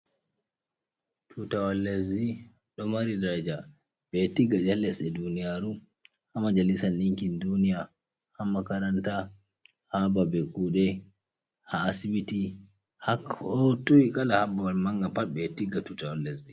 Tutawol lesdi ɗo mari daraja ɓeɗo tigga ha lesɗe duniyaru, ha majalisan ɗinkin duniya, ha makaranta, ha babe kuɗe, ha asibiti, ha koo toi, kala ha babal manga pat ɓeɗo tigga tutawol lesdi.